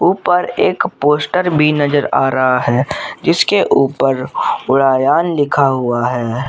ऊपर एक पोस्टर भी नजर आ रहा है जिसके ऊपर उड़ायान लिखा हुआ है।